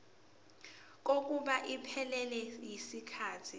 kokuba iphelele yisikhathi